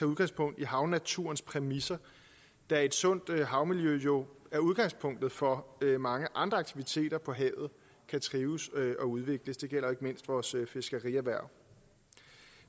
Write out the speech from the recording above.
udgangspunkt i havnaturens præmisser da et sundt havmiljø jo er udgangspunktet for at mange andre aktiviteter på havet kan trives og udvikles det gælder ikke mindst vores fiskerierhverv